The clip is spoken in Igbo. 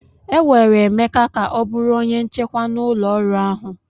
E were Emeka ka ọ bụrụ onye nchekwa na ụlọọrụ ahụ.